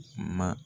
Ma